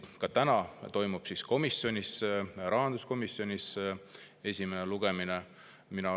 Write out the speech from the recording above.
Ka täna toimub rahanduskomisjonis seaduseelnõu esimeseks lugemiseks.